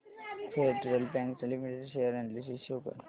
federal Bank Limited share analysis show कर